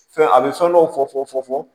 Fɛn a bɛ fɛn dɔw fɔ fɔ fɔ